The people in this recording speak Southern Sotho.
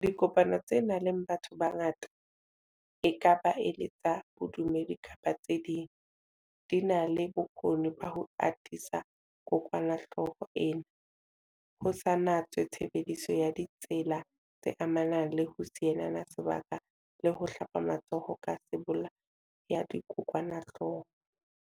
Dipokano tse nang le batho ba bangata, e ka ba e le tsa bodumedi kapa tse ding, di na le bokgoni ba ho atisa kokwanahloko ena, ho sa natswe tshebediso ya ditsela tse amanang le ho sielana se baka le ho hlapa matsoho ka sebolaya-dikokwanahloko.